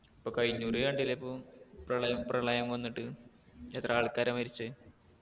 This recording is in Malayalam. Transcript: ഇപ്പൊ കഴിഞ്ഞൂറി കണ്ടില്ലേ ഇപ്പോം പ്രളയം പ്രളയം വന്നിട്ട് എത്ര ആൾക്കാരാ മരിച്ചെ